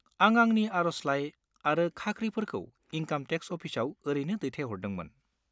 आं आंनि आर'जलाइ आरो खाख्रिफोरखौ इनकाम टेक्स अफिसाव ओरैनो दैथायहरदोंमोन।